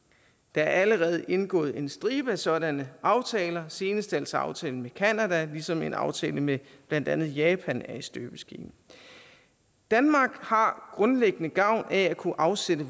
er allerede indgået en stribe af sådanne aftaler senest altså aftalen med canada ligesom en aftale med blandt andet japan er i støbeskeen danmark har grundlæggende gavn af at kunne afsætte